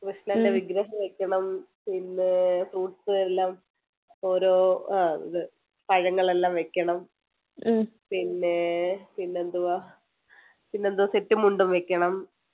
കൃഷ്ണൻ്റെ വിഗ്രഹം വെക്കണം പിന്നെ fruits എല്ലാം ഓരോ ആഹ് ഇത് പഴങ്ങളെല്ലാം വെയ്ക്കണം പിന്നെ പിന്നെ എന്തുവാ പിന്നെന്ത് set മുണ്ടും വെക്കണം